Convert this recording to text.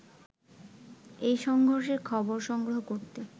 এ সংঘর্ষের খবর সংগ্রহ করতে